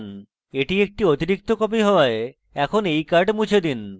এটি একটি অতিরিক্ত copy হওয়ায় এখন এই card মুছে দিন